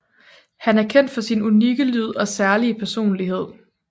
Han er kendt for sin unikke lyd og særlige personlighed